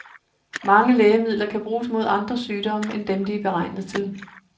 Mange lægemidler kan bruges mod andre sygdomme end dem, de er beregnet til.